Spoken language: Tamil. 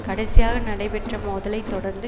கடைசியாக நடைபெற்ற மோதலை தொடர்ந்து